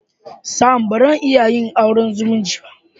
Sam! Bazan iya yin auren zumunci